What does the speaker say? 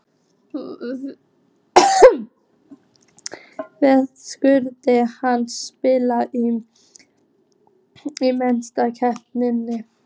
Verðskuldar hann spila í Meistaradeildinni?